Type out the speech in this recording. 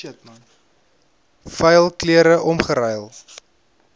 vuil klere omgeruil